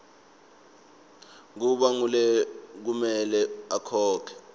kuba ngulekumele akhokhe